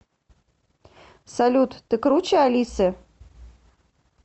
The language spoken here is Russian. салют ты круче алисы